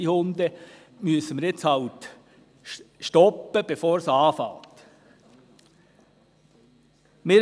Das ist halt jetzt das Erste, im Sinne von «das Erste beissen die Hunde».